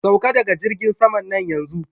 Sauka daga jirgin saman nan yanzu!